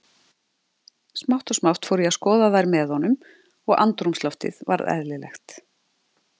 Smátt og smátt fór ég að skoða þær með honum og andrúmsloftið varð eðlilegt.